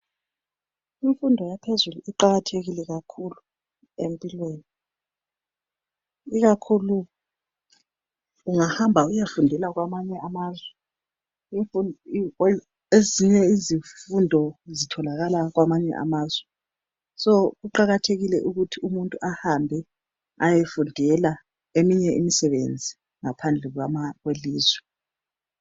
Imfundo yaphezulu iqakathekile kakhulu empilweni ikakhulu ungahamba uyefundela kwamanye amazwe. Ezinye izifundo zitholakala kwamanye amazwe so kuqakathekile ukuthi umuntu ahambe ayefundela eminye imisebenzi ngaphandle kwelizwe.